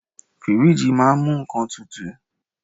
Fíríjì máà ń mú nnkan tutù.